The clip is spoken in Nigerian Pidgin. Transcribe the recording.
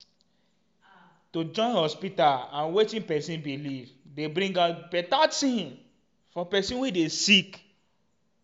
em- to join hospita and wetin pesin belief dey bring out beta tin for pesin wey dey sick